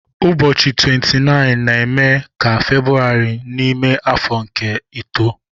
Ụbọchị 29 na-eme ka February n'ime afọ nke ito.